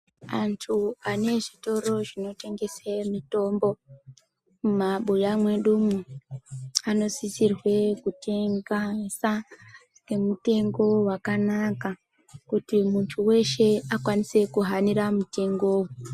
Antu ane zvitoro zvinotengese mitombo mumabuya mwedumo anosisirwe kutengesa ngemutengo wakanaka kuti muntu weshe akwanise kuhanira mutengowo.